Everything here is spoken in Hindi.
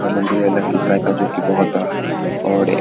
यह मंदिर है लखीसराय का जो कि बहुत बड़ा है और एक --